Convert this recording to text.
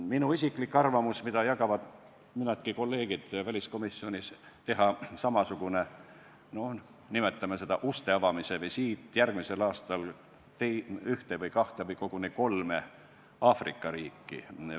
Minu isiklik arvamus, mida jagavad nii mõnedki kolleegid väliskomisjonis, on teha samasugune visiit – nimetame seda uste avamise visiidiks – järgmisel aastal ühte, kahte või koguni kolme Aafrika riiki.